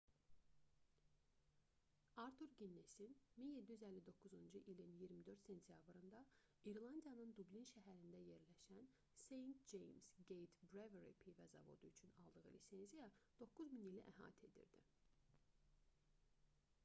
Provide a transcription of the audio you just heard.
artur ginnesin 1759-cu ilin 24 sentyabrında i̇rlandiyanın dublin şəhərində yerləşən st. james gate brewery pivə zavodu üçün aldığı lisenziya 9000 ili əhatə edirdi